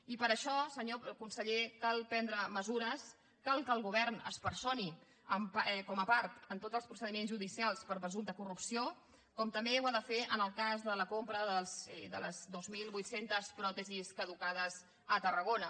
i per això senyor conseller cal prendre mesures cal que el govern es personi com a part en tots els procediments judicials per presumpte corrupció com també ho ha de fer en el cas de la compra de les dos mil vuit cents pròtesis caducades a tarragona